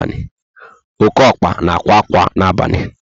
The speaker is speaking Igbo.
Oké ọkpa na ákwà ákwà na abalị